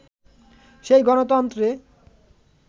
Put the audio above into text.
সেই গণতন্ত্রে